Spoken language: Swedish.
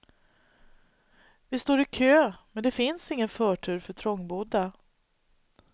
Vi står i kö, men det finns ingen förtur för trångbodda.